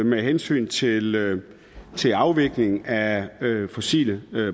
med hensyn til til afviklingen af fossile